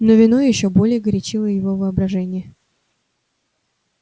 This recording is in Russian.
но вино ещё более горячило его воображение